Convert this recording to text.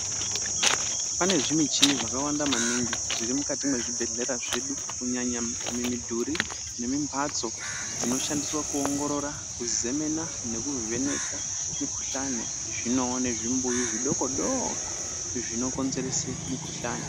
Pane zvi michini zvaka wanda maningi zviri mukati mwe zvibhedhlera zvedu kunyanya mi mudhuri nemi mbatso dzino shandiswa ku ongorora ku zemena neku vheneka mi kuhlani zvinowo nezvi mbuyu zvidoko doko zvino konzerese mikuhlani.